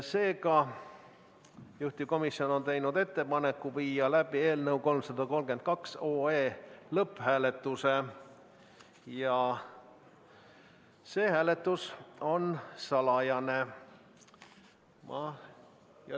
Seega, juhtivkomisjon on teinud ettepaneku viia läbi eelnõu 332 lõpphääletus ja see hääletus on salajane.